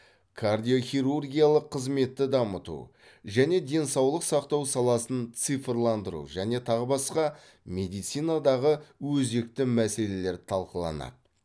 кардиохирургиялық қызметті дамыту және денсаулық сақтау саласын цифрландыру және тағы басқа медицинадағы өзекті мәселелер талқыланады